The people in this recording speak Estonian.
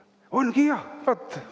Ongi jah!